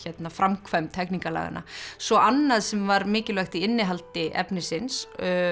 framkvæmd hegningarlaganna svo annað sem var mikilvægt í innihaldi efnisins